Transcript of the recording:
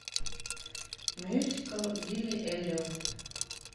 мюзикл билли эллиот